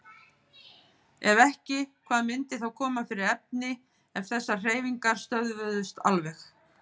Ef ekki, hvað myndi þá koma fyrir efni ef þessar hreyfingar stöðvuðust alveg?